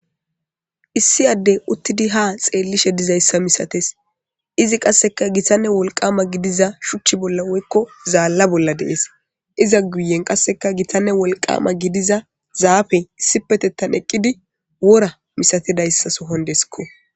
issi adde uttidi ha xeellishe dizayssa misates izi qasseka gitanne wolqama gidiza shuchchi bolla woykko zaalla bolla dees iza guyen qasseka gitanne wolqama gidiza zaafe issipetettan eqqidi wora misatedayssa sohondeskko